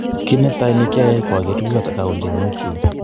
Kit netai nekiayai ko ager kurgat agauny choronokyuk